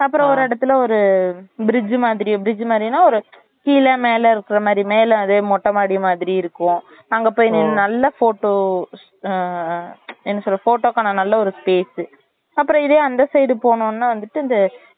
அப்புறம் ஒரு இடத்துல ஒரு bridge மாதிரி bridge மாறினா ஒரு கீழ மேல இருக்குற மாறி மேல அதே மொட்டைமாடி மாதிரி இருக்கும் அங்க போய் நீ நல்ல photo ஆஹ் என்ன சொல்ல photo கான நல்ல ஒரு space அப்டியே இதே அந்த side போனோம்னா வந்துட்டு இந்த